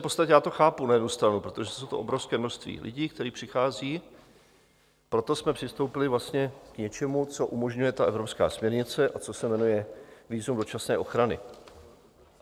V podstatě já to chápu na jednu stranu, protože je to obrovské množství lidí, které přichází, proto jsme přistoupili vlastně k něčemu, co umožňuje ta evropská směrnice a co se jmenuje vízum dočasné ochrany.